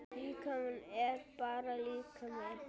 Líkami er bara líkami.